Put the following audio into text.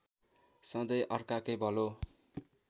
सधैँ अर्काकै भलो